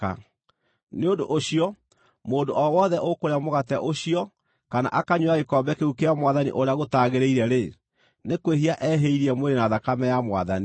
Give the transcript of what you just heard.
Nĩ ũndũ ũcio, mũndũ o wothe ũkũrĩa mũgate ũcio kana akanyuĩra gĩkombe kĩu kĩa Mwathani ũrĩa gũtaagĩrĩire-rĩ, nĩ kwĩhia ehĩirie mwĩrĩ na thakame ya Mwathani.